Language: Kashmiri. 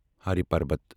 ہری پربت